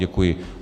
Děkuji.